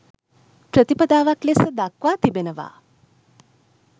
ප්‍රතිපදාවක් ලෙස දක්වා තිබෙනවා.